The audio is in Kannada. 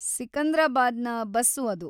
ಸಿಕಂದ್ರಾಬಾದ್‌ನ ಬಸ್ಸು ಅದು.